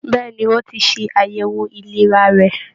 Bẹ̀ẹ́ni, o tí ṣe àyẹwò ìlera rẹ.